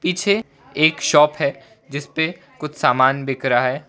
पीछे एक शॉप है जिस पे कुछ सामान बिक रहा है।